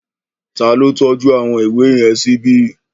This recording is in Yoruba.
Ta ló tọ́jú àwọn ìwé yẹn síbi?